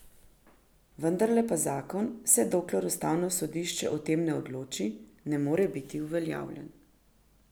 Vendarle pa zakon, vse dokler ustavno sodišče o tem ne odloči, ne more biti uveljavljen.